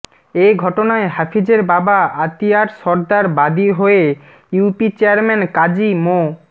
এ ঘটনায় হাফিজের বাবা আতিয়ার সরদার বাদী হয়ে ইউপি চেয়ারম্যান কাজী মো